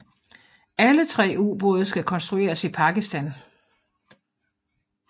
Alle tre ubåde skal konstrueres i Pakistan